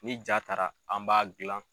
Ni jaa taara an b'a gilan.